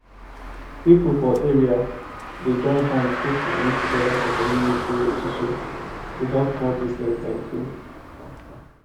pipo for area dey join hand put money together for community esusu to help small business dem grow